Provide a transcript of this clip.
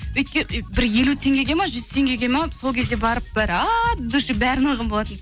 бір елу теңгеге ма жүз теңгеге ма сол кезде барып бір от души бәрін алған болатынмын